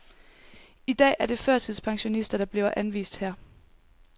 I dag er det førtidspensionister, der bliver anvist her.